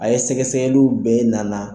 A ye sɛgɛsɛgɛliw bɛɛ nana.